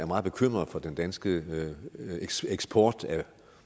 meget bekymret for den danske eksport